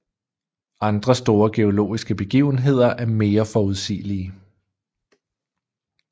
Andre store geologiske begivenheder er mere forudsigelige